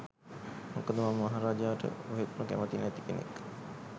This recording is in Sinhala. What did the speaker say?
මොකද මම මහ රජාට කොහෙත්ම කැමති නැති කෙනෙක්.